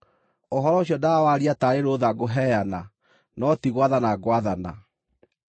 Ũhoro ũcio ndawaaria taarĩ rũũtha ngũheana, no ti gwathana ngwathana.